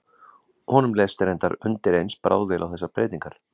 Honum leist reyndar undireins bráðvel á þessar breytingar.